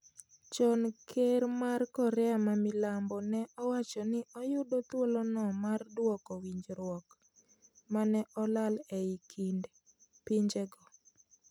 Chon ker mar Korea ma Milambo ne owacjo ni oyudo thuolono mar duoko winjruok mane olal ei kind pinjego